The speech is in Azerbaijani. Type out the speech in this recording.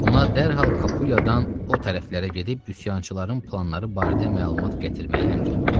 Ona dərhal Kapuadan o tərəflərə gedib üsyançıların planları barədə məlumat gətirməyi əmr etdi.